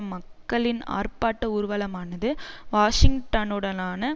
மக்களின் ஆர்ப்பாட்ட ஊர்வலமானது வாஷிங்டனுடனான